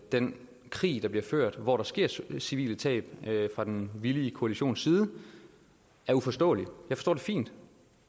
den krig der bliver ført hvor der sker sker civile tab fra den villige koalitions side er uforståelig jeg forstår det fint